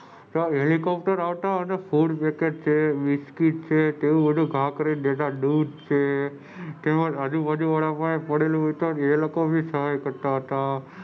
ચાર હેલિકોપ્ટર આવતા અને ફૂડ છે બિસ્કિટ છે એવું બધું ખાખરે દેતા દૂધ છે તેમજ આજુ બાજુ વાળા પાસે પડેલું હતું એ લોગો એ સહાય કરતા હતા.